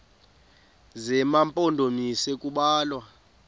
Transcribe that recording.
zema mpondomise kubalwa